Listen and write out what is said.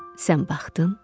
sən baxdın,